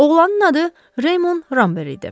Oğlanın adı Reymond Rambert idi.